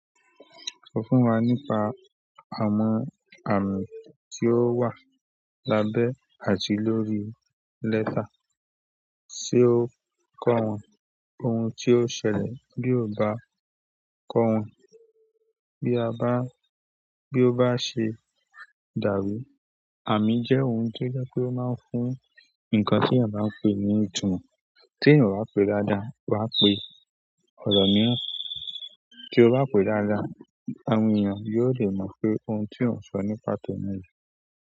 Sọ fún wa nípa àmọ́ àmì tí ó wà lábẹ́ àti lórí lẹ́tà, ṣe ó kọ́ wọn ohun tí ó ṣẹlẹ̀ bí o bá kọ́ wọn bí a bá, bí ó bá ṣe dàrú? Àmì jẹ́ ohun tó jẹ́ kó máa ń fún nǹkan tí a bá ń pe ní ìtumọ̀. Tí ò ń bá pe dáadáa, wà á pe ọ̀rọ̀ ní ọ̀tọ̀. Tí o bá pe dáadáa àwọn èèyàn yóò lè mọ̀ pé ohun tí ò ń sọ ní pàtó náà jẹ́